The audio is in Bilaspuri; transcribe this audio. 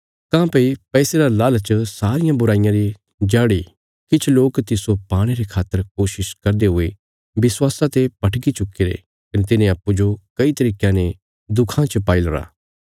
काँह्भई पैसे रा लालच सारियां बुराँईयां री जड़ इ किछ लोक तिस्सो पाणे रे खातर कोशिश करदे हुये विश्वासा ते भटकी चुक्कीरे कने तिन्हें अप्पूँजो कई तरीकयां ने दुखां च पाईलरा